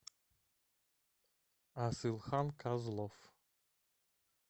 асылхан козлов